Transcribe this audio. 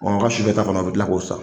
ka sufɛ ta fana u bɛ kila k'o san.